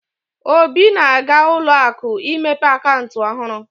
Obi na-aga ụlọ akụ imepe akaụntụ ọhurụ.